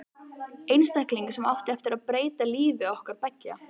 Einstakling sem átti eftir að breyta lífi okkar beggja.